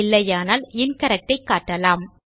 இல்லையானால் இன்கரெக்ட் ஐ காட்டலாம்